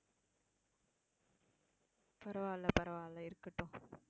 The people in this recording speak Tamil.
பரவாயில்லை, பரவாயில்லை இருக்கட்டும்.